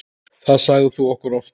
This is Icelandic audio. Það sagðir þú okkur oft.